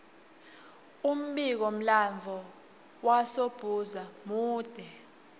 umbiko mlanduo wasdbhuza mule